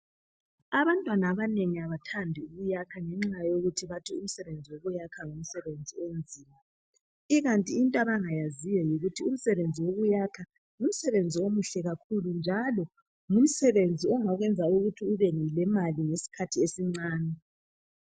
abantwana abanengi abathathi ukuyakha ngenxa yokuthi bathi umsebenzi wokuyakha ngemsebenzi onzima ikanti into abangayaziyo yikuthi umsebenzi wokuyakha ngumsebenzi omuhle kakhulu njalo ngumsebenzi ongakuyenza ukuthi ube lemali ngesikhathi esincane